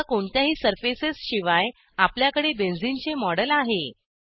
आता कोणत्याही सर्फेसेसशिवाय आपल्याकडे बेन्झीन चे मॉडेल आहे